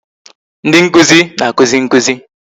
Ndị nkụzi na-akụzi nkụzi